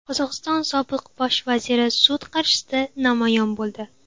Qozog‘iston sobiq bosh vaziri sud qarshisida namoyon bo‘ldi.